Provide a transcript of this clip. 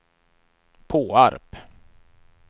Påarp